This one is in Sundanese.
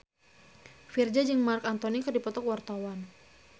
Virzha jeung Marc Anthony keur dipoto ku wartawan